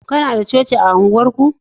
kuna da coci a unguwar ku?